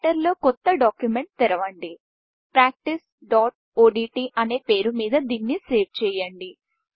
రైటర్లో కొత్త డాక్యుమెంట్ తెరవండి practiceఓడ్ట్ అనే పేరు మీద దాన్ని సేవ్ చేయండి